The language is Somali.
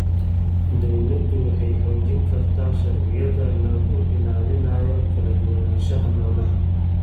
Dawladdu waxay xoojin kartaa sharciyada lagu ilaalinayo kala duwanaanshaha noolaha.